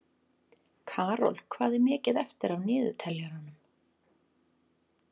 Karol, hvað er mikið eftir af niðurteljaranum?